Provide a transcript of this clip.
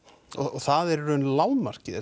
það er í raun lágmarkið